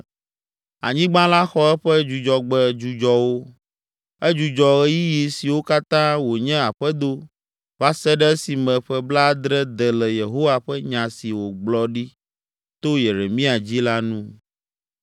Anyigba la xɔ eƒe Dzudzɔgbe dzudzɔwo. Edzudzɔ ɣeyiɣi siwo katã wònye aƒedo va se ɖe esime ƒe blaadre de le Yehowa ƒe nya si wògblɔ ɖi to Yeremia dzi la nu.